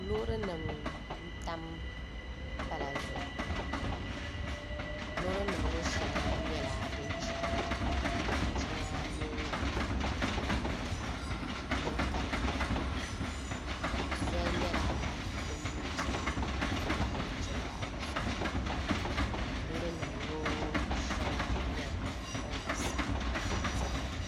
Loori nim n tam pala zuɣu loori nim ŋɔ shɛŋa nyɛla din chɛna ka shɛŋa nyɛ din kanna zoli nyɛla din biɛni n ti pahi nachimbi ayi zuɣu loori nim ŋɔ shɛli nyɛla din gba saɣam ʒɛya